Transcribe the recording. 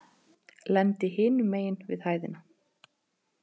Lendi hinum megin við hæðina.